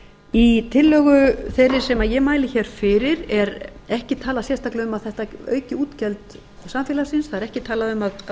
í tillögu þeirri sem ég mæli hér fyrir er ekki talað sérstaklega um að þetta auki útgjöld samfélagsins það er ekki talað um að